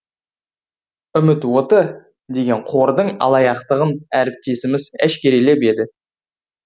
үміт оты деген қордың алаяқтығын әріптесіміз әшкерелеп еді